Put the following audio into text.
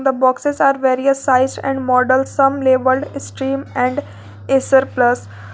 The boxes are various size and model some labelled stream and acer plus.